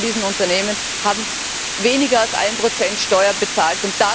Viele von diesen Unternehmen haben weniger als 1 Prozent Steuer bezahlt.